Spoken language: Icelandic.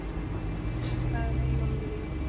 Höfundur er sagður Eyjólfur í